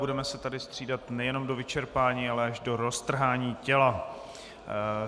Budeme se tady střídat nejen do vyčerpání, ale až do roztrhání těla.